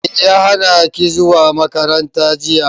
Me ya hanaki zuwa makaranta jiya.